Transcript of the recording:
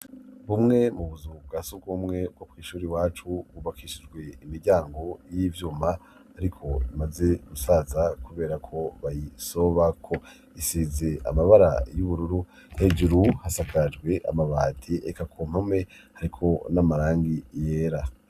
Bumwe mu buzu bwa surwumwe bwo kw'ishuri iwacu, bwubakishijwe imiryango y'ivyuma ariko imaze gusaza kubera ko bayisobako. Isize amabara y'ubururu hejuru hasakajwe amabati, eka ku mpome hariko n'amarangi yera.